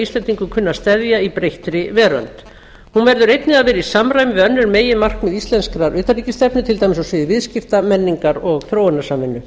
kunni að steðja í breyttri veröld hún verður einnig að vera í samræmi við önnur meginmarkmið íslenskrar utanríkisstefnu til dæmis á sviði viðskipta menningar og þróunarsamvinnu